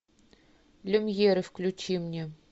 люмьеры включи мне